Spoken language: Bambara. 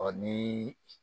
Ɔ ni